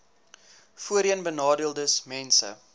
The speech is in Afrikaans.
voorheenbenadeeldesmense